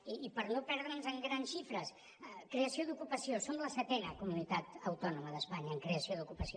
i per no perdre’ns en grans xifres creació d’ocupació som la setena comunitat autònoma d’espanya en creació d’ocupació